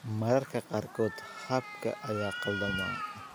Mararka qaarkood, habka ayaa khaldama.